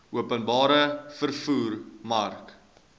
openbare vervoer mark